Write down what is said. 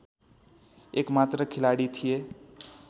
एकमात्र खेलाडी थिए